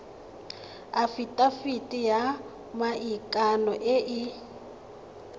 afitafiti ya maikano e e